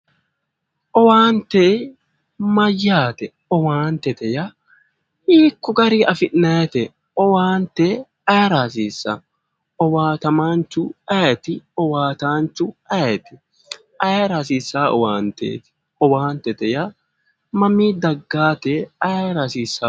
Owaante mayyaate? Owaantete yaa hiikko gari afi'nayiite? Owaante ayeera hasiissawo? Owaatamaanchu ayeeti? Owaataanchu ayeeti? Ayeera hasissaawo owaanteeti? Owaantete mamii daggawoote ayeera hasiissawotte?